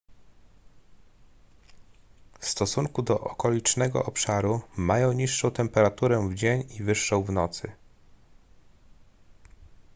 w stosunku do okolicznego obszaru mają niższą temperaturę w dzień i wyższą w nocy